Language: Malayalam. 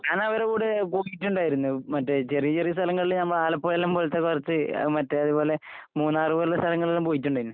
ഞാനവരെ കൂടെ പോയിട്ട്ണ്ടായിരുന്നു. മറ്റേ ചെറിയ ചെറിയ സ്ഥലങ്ങളില് നമ്മളെ ആലപ്പുഴയെല്ലാം പോലത്തെ കൊറച്ച് അഹ് മറ്റേ അതുപോലെ മൂന്നാറ് പോലുള്ള സ്ഥലങ്ങളിലെല്ലാം പോയിട്ടുണ്ടായിരുന്നു.